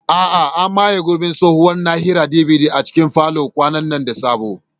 A'a, an maye gurbin tsohuwar na'urar DVD a cikin falon kwanan nan da sabo.